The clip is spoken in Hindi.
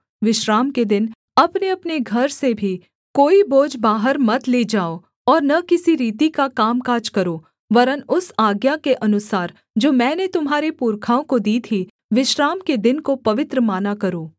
विश्राम के दिन अपनेअपने घर से भी कोई बोझ बाहर मत ले जाओ और न किसी रीति का कामकाज करो वरन् उस आज्ञा के अनुसार जो मैंने तुम्हारे पुरखाओं को दी थी विश्राम के दिन को पवित्र माना करो